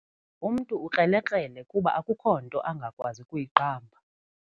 Umntu ukrelekrele kuba akukho nto angakwazi kuyiqamba.